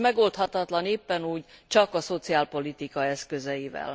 S megoldhatatlan éppen úgy csak a szociálpolitika eszközeivel.